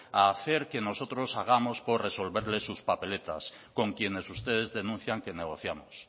a hacer que nosotros hagamos por resolverles sus papeletas con quienes ustedes denuncian que negociamos